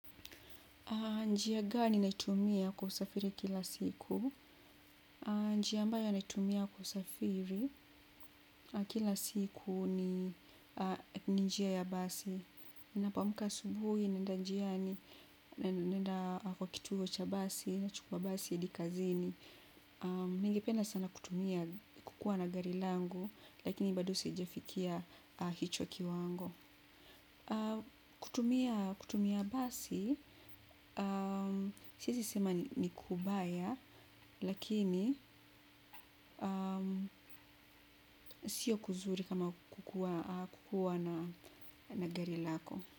Njia gani naitumia kusafiri kila siku? Njia ambayo naitumia kusafiri kila siku ni njia ya basi. Ninapomka asubuhi, naenda njiani naenda kwa kituo cha basi, nachukua basi, hadi kazini. Ningependa sana kutumia kukua na gari langu, lakini bado sijafikia hicho kiwango. Kutumia basi, siezi sema ni kubaya, lakini sio kuzuri kama kukuwa na gari lako.